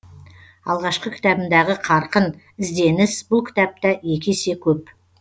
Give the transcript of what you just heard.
алғашқы кітабымдағы қарқын ізденіс бұл кітапта екі есе көп